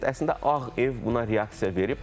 Əslində Ağ ev buna reaksiya verib.